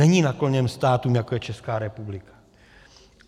Není nakloněn státům, jako je Česká republika.